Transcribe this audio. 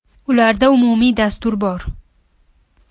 Ularda umumiy dastur bor.